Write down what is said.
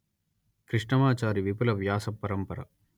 కృష్ణమాచారి విపుల వ్యాస పరంపర